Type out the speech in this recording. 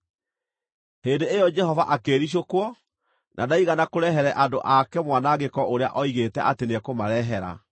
Hĩndĩ ĩyo Jehova akĩĩricũkwo, na ndaigana kũrehere andũ ake mwanangĩko ũrĩa oigĩte atĩ nĩekũmarehera.